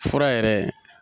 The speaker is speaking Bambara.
Fura yɛrɛ